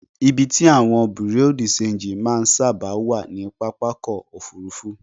Ibi tí àwọn Bùréú-di-ṣenji máa ń sáàbà wá ní pápákọ́ Òfurufú.